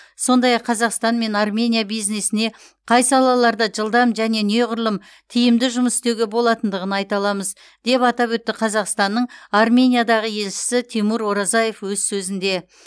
сондай ақ қазақстан мен армения бизнесіне қай салаларда жылдам және неғұрлым тиімді жұмыс істеуге болатындығын айта аламыз деп атап өтті қазақстанның армениядағы елшісі тимур оразаев өз сөзінде